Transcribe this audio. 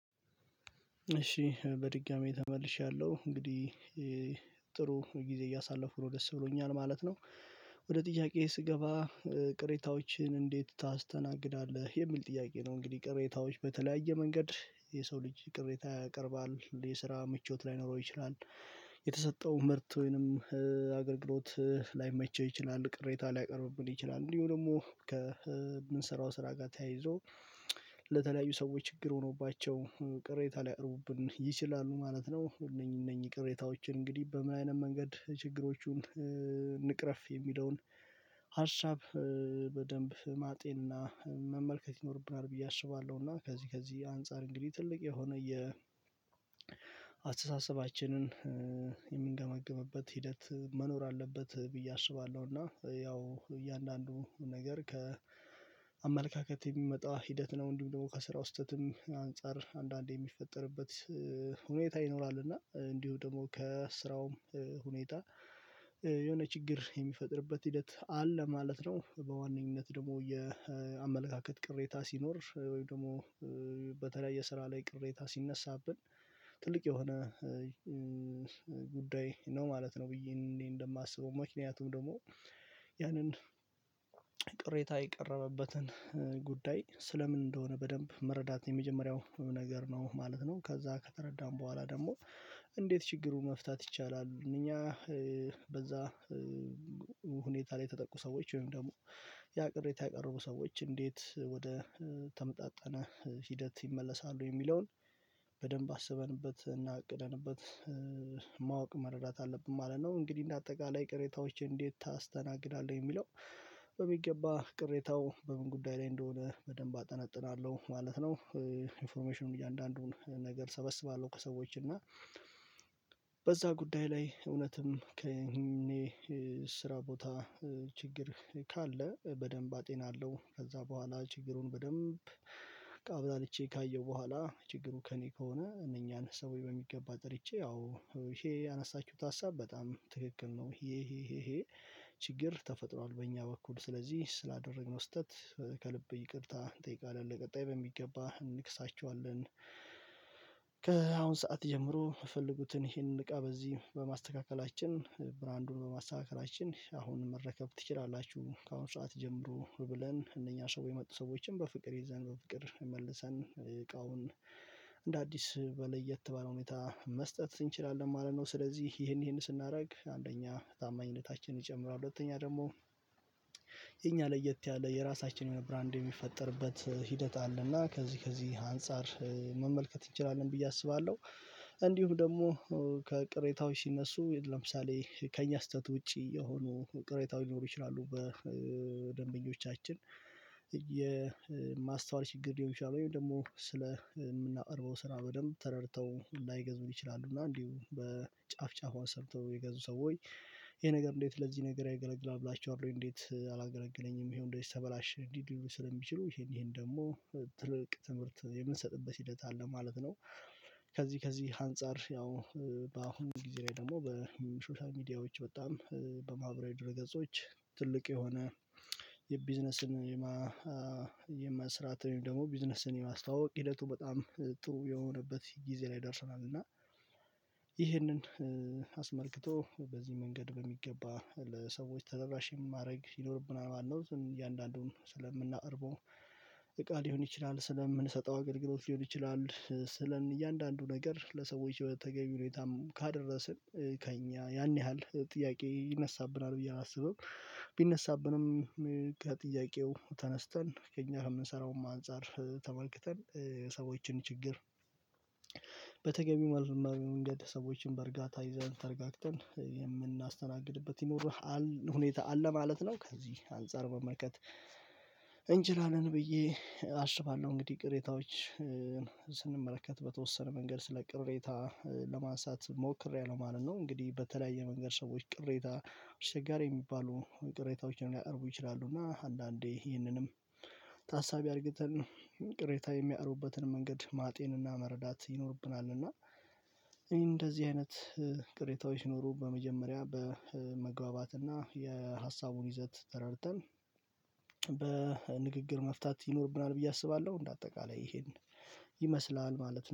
እሺ በድጋሚ ተመልሻለሁ እንግዲህ ጥሩ ጊዜ እያሳለፍኩ ነው ደስ ብሎኛል ማለት ነው ወደ ጥያቄዬ ስገባ ቅሬታዎችን እንዴት ታስተናግዳለህ የሚል ጥያቄ ነው እንግዲህ ቅሬታዎች በተለያየ መንገድ የሰው ልጅ ቅሬታ ያቀርባል የስራ ምቾት ላይኖረው ይችላል የተሰጠው ምርት ወይንም አገልግሎት ላይመቸው ይችላል ቅሬታ ሊያቀርብብን ይችላል እንዲሁ ደግሞ ከምንሰራው ስራ ጋር ተያይዞ ለተለያዩ ሰዎች ችግር ሆኖባቸው ቅሬታ ሊያቅርቡብን ይችላሉ ማለት ነው እነኚህ እነኚህ ቅሬታዎችን እንግዲህ በምን አይነት መንገድ ችግሮቹን እንቅረፍ የሚለውን ሀሳብ በደንብ ማጤንና መመልከት ይኖርብናል ብዬ አስባለሁ እና ከዚህ ከዚህ አንፃር እንግዲህ ትልቅ የሆነ የ አስተሳሰባችንን የምንገመግምበት ሂደት መኖር አለበት ብዬ አስባለሁ እና ያው እያንዳንዱ ነገር ከአመለካከት የሚመጣ ሂደት ነው እንዲሁም ደግሞ ከስራው ስህተትም አንፃር አንዳንዴ የሚፈጠርበት ሁኔታ ይኖራል እና እንዲሁ ደግሞ ከስራውም ሁኔታ የሆነ ችግር የሚፈጥርበት ሂደት አለ ማለት ነው በዋነኝነት ደግሞ የአመለካከት ቅሬታ ሲኖር ወይም ደግሞ በተለይ የስራ ላይ ቅሬታ ሲነሳብን ትልቅ የሆነ ጉዳይ ነው ማለት ነው ብዬ እንደማስበው ምክንያቱም ደግሞ ያንን ቅሬታ የቀረበበትን ጉዳይ ስለ ምን እንደሆነ በደንብ መረዳት የመጀመሪያው ነገር ነው ማለት ነው ከዛ ከተረዳን ቦኋላ ደግሞ እንዴት ችግሩን መፍታት ይቻላል እኛ በዛ ሁኔታ የተጠቁ ሰዎች ወይም ደግሞ ያ ቅሬታ ያቀረቡ ሰዎች እንዴት ወደ ተመጣጣነ ሂደት ይመለሳሉ የሚለውን በደንብ አስበንበት እና አቅደንበት ማወቅ መረዳት አለብን ማለት ነው እንግዲህ እንደ አጠቃላይ ቅሬታዎች እንዴት ታስተናግዳለህ የሚለው በሚገባ ቅሬታው በምን ጉዳይ ላይ እንደሆነ በደንብ አጠናጥናለሁ ማለት ነው ኢንፎርሜሽኑን እያንዳንዱን ነገር ሰበስባለሁ ከሰዎች እና በዛ ጉዳይ ላይ እውነትም ከእኔ ስራ ቦታ ችግር ካለ በደንብ አጤናለሁ ከዛ በኋላ ችግሩን በደንብ በላልቼ ካየሁ በኋላ ችግሩ ከእኔ ከሆነ እነኛን ሰውዬ በሚገባ ጠርቼ ያው ይሄ ያነሳችሁት ሀሳብ በጣም ትክክል ነው ይሄ ይሄ ይሄ ችግር ተፈጥሯል በእኛ በኩል ስለዚህ ስላደረግነው ስህተት ከልብ ይቅርታ እንጠይቃለን ለቀጣይ በሚገባ እንክሳቸዋለን ሰዓት ጀምሮ የፈለጉትን ይሄንን እቃ በዚህ በማስተካከላችን ብራንዱን በማስተካከላችን አሁን መረከብ ትችላላችሁ ከአሁን ሰዓት ጀምሮ ብለን እነኛ ሰው የመጡ ሰዎችን በፍቅር ይዘን በፍቅር የመለሰን እቃውን እንደ አዲስ ለየት ባለ ሁኔታ መስጠት እንችላለን ማለት ነው ስለዚህ ይሄን ይሄን ስናደርግ አንደኛ ታማኝነታችንን ጨምሮ ሁለተኛ ደግሞ የኛ ለየት ያለ የራሳችን የሆነ ብራንድ የሚፈጠርበት ሂደት አለና ከዚህ ከዚህ አንፃር መመልከት እንችላለን ብዬ አስባለሁ እንዲሁም ደግሞ ከቅሬታዎች ሲነሱ ለምሳሌ ከእኛ ስህተት ውጪ የሆኑ ቅሬታዎች ሊኖሩ ይችላሉ በደንበኞቻችን የማስተዋል ችግር ሊሆን ይችላል ወይም ደግሞ ስለ የምናቀርበው ስራ በደንብ ተረድተው ላይገዙን ይችላሉ እና እንዲሁ በጫፍ ጫፏን ሰርቶ የገዙ ሰው ወይ ይሄ ነገር እንዴት ለዚህ ነገር አይገለግልም ብላችኋል እንዴት አላገለገለኝም ይሄው እንደዚህ ተበላሽ ስለሚችሉ ይሄን ይሄን ደግሞ ትልቅ ትምህርት የምንሰጥበት ሂደት አለ ማለት ነው ከዚህ ከዚህ አንፃር ያው በአሁኑ ጊዜ ላይ ደግሞ በሶሻል ሚዲያዎች በጣም በማህበራዊ ድረገጾች ትልቅ የሆነ የቢዝነስን የማስራት ደግሞ ቢዝነስን የማስተዋወቅ ሂደቱ በጣም ጥሩ የሆነበት ጊዜ ላይ ደርሰናል እና ይህንን በዚህ መንገድ በሚገባ ለሰዎች ተደራሽ ማድረግ ይኖርብናል ማለት ነው እያንዳንዱን ስለምናቀርበው እቃ ሊሆን ይችላል ስለምንሰጠው አገልግሎት ሊሆን ይችላል ስለን እያንዳንዱ ነገር ለሰዎች የተገኘ ሁኔታም ካደረስን ከእኛ ያን ያህል ጥያቄ ይነሳብናል ብዬ አላስብም ቢነሳብንም ጥያቄው ተነስተን ከእኛ የምንሰራውም አንፃር ተመልክተን ሰዎችን ችግር በተገቢው ማስማሚያ መንገድ ሰዎችን በእርጋታ ይዘን ተርጋግተን የምናስተናግድበት ይኖራል ሁኔታ አለ ማለት ነው ከዚህ አንፃር መመልከት እንችላለን ብዬ አስባለሁ እንግዲህ ቅሬታዎች ስንመለከት በተወሰነ መንገድ ስለ ቅሬታ ለማንሳት ሞክሬያለሁ ማለት ነው እንግዲህ በተለያየ መንገድ ሰዎች ቅሬታ አስቸጋሪ የሚባሉ ቅሬታዎችን ላይ አርቦ ይችላሉ እና አንዳንዴ ይህንንም ታሳቢ አድርገን ቅሬታ የሚያርቡበትን መንገድ ማጤንና መረዳት ይኖርብናል እና እንደዚህ አይነት ቅሬታዎች ሲኖሩ በመጀመሪያ በመግባባትና የሀሳቡን ይዘት ተረድተን መፍታት ይኖርብናል ብዬ አስባለሁ እንደ አጠቃላይ ይሄን ይመስላል ማለት ነው።